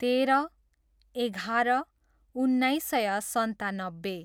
तेह्र, एघार, उन्नाइस सय सन्तानब्बे